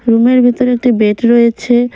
Room -এর ভিতরে একটি বেট রয়েছে।